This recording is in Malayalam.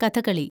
കഥകളി